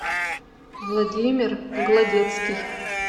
владимир гладецкий